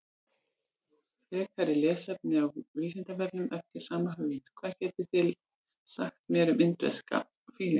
Frekara lesefni á Vísindavefnum eftir sama höfund: Hvað getið þið sagt mér um indverska fílinn?